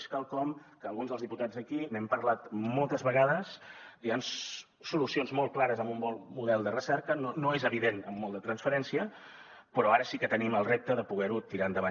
és quelcom que alguns dels diputats aquí n’hem parlat moltes vegades hi han solucions molt clares amb un bon model de recerca no és evident amb molt de transferència però ara sí que tenim el repte de poder ho tirar endavant